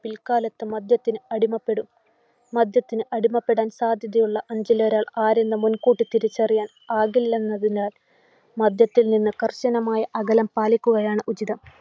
പിൽക്കാലത്ത് മദ്യത്തിന് അടിമപ്പെടും. മദ്യത്തിന് അടിമപ്പെടാൻ സാധ്യതയുള്ള അഞ്ചിൽ ഒരാൾ ആരെന്നു മുൻകൂട്ടി തിരിച്ചറിയാൻ ആകില്ലന്നതിനാൽ, മദ്യത്തിൽ നിന്ന് കർശനമായ അകലം പാലിക്കുകയാണ് ഉചിതം.